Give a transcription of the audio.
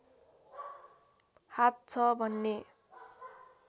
हात छ भन्ने